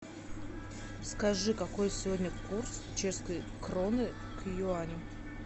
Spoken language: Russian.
скажи какой сегодня курс чешской кроны к юаню